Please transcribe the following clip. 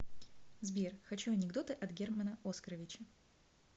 сбер хочу анекдоты от германа оскоровича